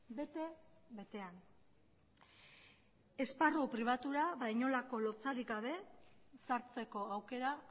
bete betean esparru pribatura ba inolako lotsarik gabe sartzeko aukera